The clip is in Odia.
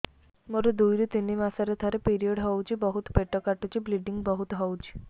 ମୋର ଦୁଇରୁ ତିନି ମାସରେ ଥରେ ପିରିଅଡ଼ ହଉଛି ବହୁତ ପେଟ କାଟୁଛି ବ୍ଲିଡ଼ିଙ୍ଗ ବହୁତ ହଉଛି